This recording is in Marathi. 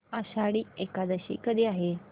आषाढी एकादशी कधी आहे